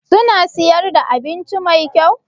Suna siyar da abinci Mai kyau?